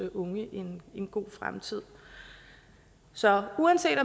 unge en god fremtid så uanset